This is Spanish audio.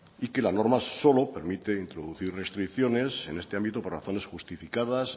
y que la norma solo permite introducir restricciones en este ámbito por razones justificadas